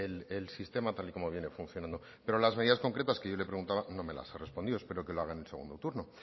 el sistema tal y como viene funcionando pero las medidas concretas que yo le preguntaba no me las ha respondido espero que lo haga en el segundo turno